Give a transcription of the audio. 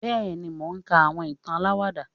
bẹẹni, mò kà àwọn ìtán àláwádà